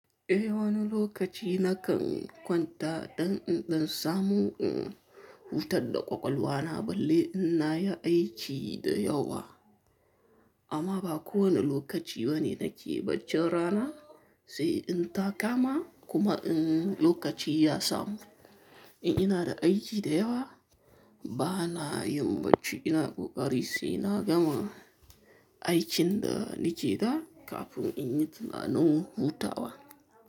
Eh wani lokaci na kan kwanta, dan in ɗan samu in huta da ƙwaƙwalwa na, balle ina yi aiki da yawa. Amma ba kowane lokaci bane nake baccin rana, sai in ta kama, kuma in lokaci ya samu. In ina da aiki da yawa bana yin bacci, ina ƙoƙari sai na gama aikin da nike da kafin in yi tunanin hutawa.